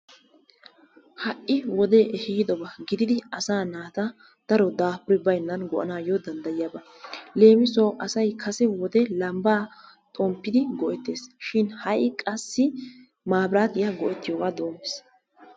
Ha'i wodee ehiidoba gididdi asaa naata daro daafuri baynnan go'anaayo danddayiyaaba. leemissuwawu asay kase wode lambbaa xomppidi go'etees shin ha'i qassi maabiraatiya go'etiyooga doomiis.